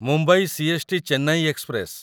Mumbai CST. Chennai express